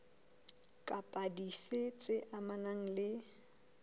kapa dife tse amanang le